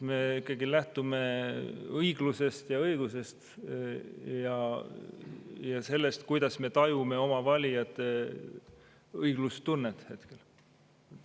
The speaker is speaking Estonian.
Me ikkagi lähtume õiglusest ja õigusest ning sellest, kuidas me tajume hetkel oma valijate õiglustunnet.